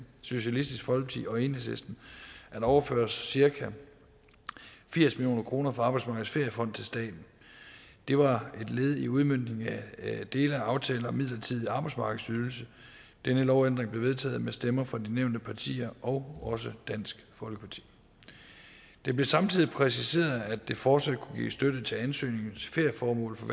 socialistisk folkeparti og enhedslisten at overføre cirka firs million kroner fra arbejdsmarkedets feriefond til staten det var et led i udmøntningen af dele af aftalen om en midlertidig arbejdsmarkedsydelse denne lovændring blev vedtaget med stemmer fra de nævnte partier og dansk folkeparti det blev samtidig præciseret at der fortsat kunne gives støtte til ansøgninger til ferieformål for